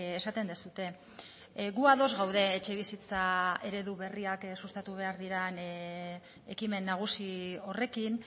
esaten duzue gu ados gaude etxebizitza eredu berriak sustatu behar diren ekimen nagusi horrekin